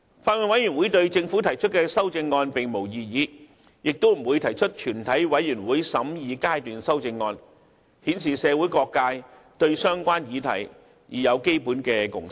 法案委員會對政府提出的修正案並無異議，亦不會提出全體委員會審議階段修正案，這顯示社會各界對相關議題已有基本共識。